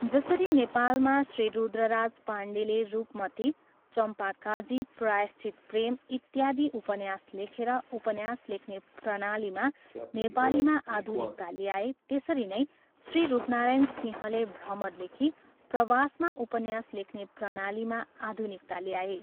जसरी नेपालमा श्री रूद्रराज पाण्डेले रूपमती, चप्पाकाजी, प्रायश्चित प्रेम इत्यादि उपन्यास लेखेर उपन्यास लेख्ने प्रणालीमा नेपालीमा आधुनिकता ल्याए त्यसरी नै श्री रूपनारायण सिंहले भ्रमर लेखी प्रवासमा उपन्यास लेख्ने प्रणालीमा आधुनिकता ल्याए।